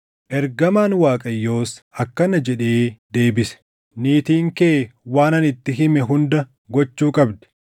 Ergamaan Waaqayyoos akkana jedhee deebise; “Niitiin kee waan ani itti hime hunda gochuu qabdi.